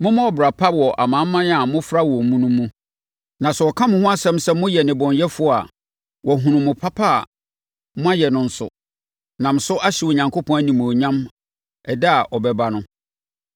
Mommɔ ɔbra pa wɔ amanaman a mofra wɔn mu no mu, na sɛ wɔka mo ho nsɛm sɛ moyɛ nnebɔneyɛfoɔ a, wɔahunu mo papa a moayɛ no nso, nam so ahyɛ Onyankopɔn animuonyam ɛda a ɔbɛba no.